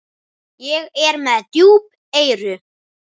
Ég er með djúp eyru.